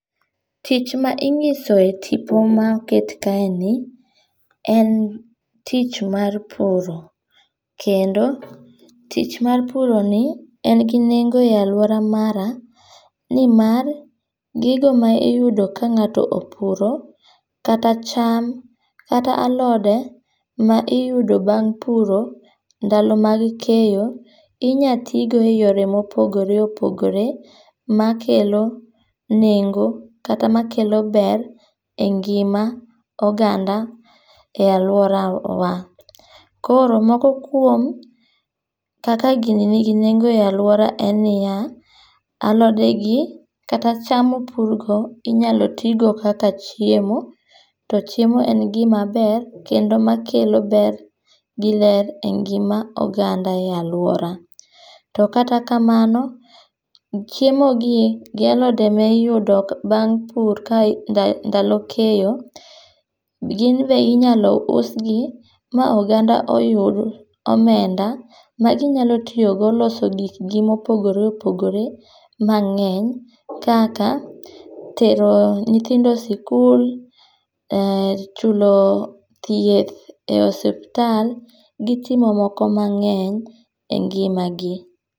Tich ma inyiso e tipo ma oket kaeni, en tich mar puro. Kendo tich mar puroni, en gi nengo e alwora mara ni mar, gigo ma iyudo ka ngáto opuro, kata cham, kata alode ma iyudo bang' puro, ndalo mag keyo, inyalo ti go e yore ma opogore opogore makelo nengo, kata makelo ber e ngima oganda, e alworawa. Koro moko kuom kaka gini nigi nengo e alwora en niya, alodegi kata cham mopurgo, inyalo tii go kaka chiemo. To chiemo en gima ber, kendo makelo ber giler e ngima oganda e alwora. To kata kamano, chiemogi, gi alode ma iyudo bang' pur ndalo keyo, ginbe inyalo us gi, ma ogaanda oyud omenda, ma ginyalo tiyogo loso gikgi mopogore opogore mangény kaka, tero nyithindo sikul um, thieth e osiptal, gi timo moko mangény e ngimagi.